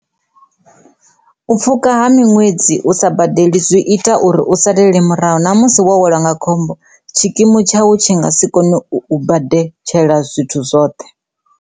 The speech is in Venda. U pfhuka ha miṅwedzi u sa badeli zwi ita uri u salele murahu ṋa musi welwa nga khombo tshikimu tshau tshi nga si kone u badeletshela zwithu zwoṱhe.